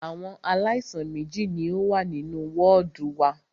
Àwọn aláìsàn méjì ní o wà nínú wọ́ọ̀dù wa.